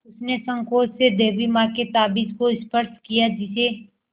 उसने सँकोच से देवी माँ के ताबीज़ को स्पर्श किया जिसे